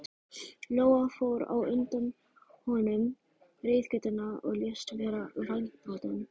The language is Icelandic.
Lóa fór á undan honum reiðgötuna og lést vera vængbrotin.